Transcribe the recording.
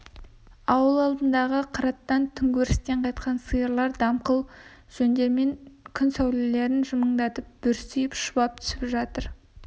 ауыл алдындағы қыраттан түнгі өрістен қайтқан сиырлар дымқыл жондарында күн сәулелерін жымыңдатып бүрсиіп шұбап түсіп жатыр